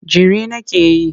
Jiri nake yi.